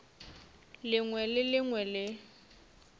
lengwe le le lengwe le